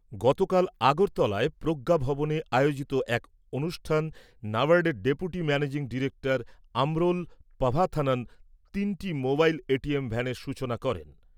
গতকাল আগরতলায় প্রজ্ঞা ভবনে আয়োজিত এক অনুষ্ঠানে ন্যাবার্ডের ডেপুটি ম্যানেজিং ডিরেক্টর আমরোল পাভাথানন তিনটি মোবাইল এটিএম ভ্যানের সূচনা করেন।